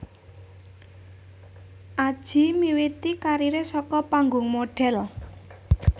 Adjie miwiti kariré saka panggung modhél